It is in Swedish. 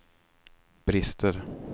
brister